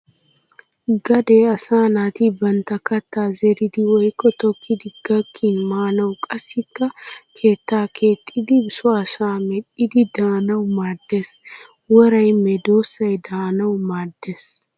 Gadee asaa naati bantta kattaa zeridi woykko tokkidi gakkin maanawu qassikka keettaa keexxidi so asaa medhdhidi daanawu maaddes. Woray medossay daanawu maaddes.